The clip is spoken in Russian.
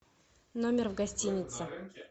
номер в гостинице